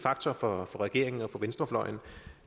for regeringen og venstrefløjen